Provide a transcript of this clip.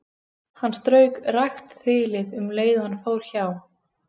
Hann strauk rakt þilið um leið og hann fór hjá.